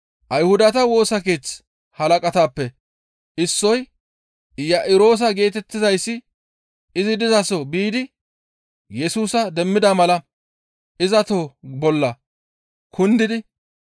Ayhudata Woosa Keeththa halaqatappe issoy Iya7iroosa geetettizayssi izi dizaso biidi Yesusa demmida mala iza toho bolla kundidi